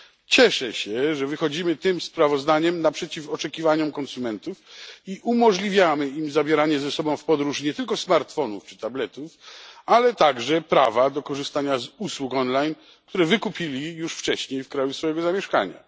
Cieszę się, że wychodzimy tym sprawozdaniem naprzeciw oczekiwaniom konsumentów i umożliwiamy im zabieranie ze sobą w podróż nie tylko smartfonów czy tabletów, ale także i prawa do korzystania z usług online, które wykupili już wcześniej w kraju swego zamieszkania.